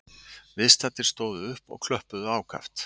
Viðstaddir stóðu upp og klöppuðu ákaft